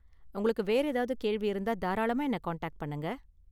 உங்களுக்கு வேற ஏதாவது கேள்வி இருந்தா தாராளமா என்ன காண்டாக்ட் பண்ணுங்க.